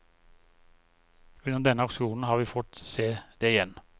Under denne aksjonen har vi fått se det igjen.